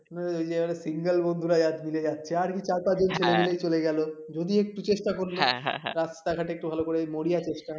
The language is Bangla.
ওই যে initial বন্ধুরা মিলে যাচ্ছে আরকি চারটা দিন বললেই চলে গেল যদি একটু চেষ্টা করলে রাস্তাঘাটে ভালো করে মরিয়া চেষ্টা